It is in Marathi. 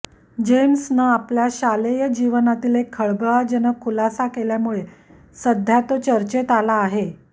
जेम्सनं आपल्या शालेज जीवनातील एक खळबळजनक खुलासा केल्यामुळे सध्या तो चर्चेत आला आहे